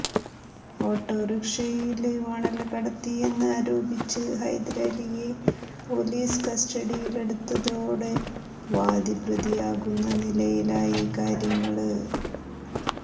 ഓട്ടോറിക്ഷയില് മണല്കടത്തിയെന്ന് ആരോപിച്ചു ഹൈദരലിയെ പൊലീസ് കസ്റ്റഡിയിലെടുത്തതോടെ വാദി പ്രതിയാകുന്ന നിലയിലായി കാര്യങ്ങള്